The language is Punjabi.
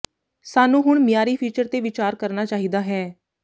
ਸਾਨੂੰ ਹੁਣ ਮਿਆਰੀ ਫੀਚਰ ਤੇ ਵਿਚਾਰ ਕਰਨਾ ਚਾਹੀਦਾ ਹੈ